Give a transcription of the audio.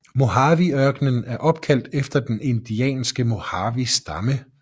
Mojaveørkenen er opkaldt efter den indianske Mojavestamme